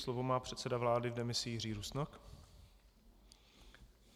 Slovo má předseda vlády v demisi Jiří Rusnok.